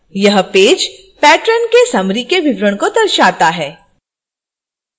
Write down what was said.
यह page patron के summary के विवरण को दर्शाता है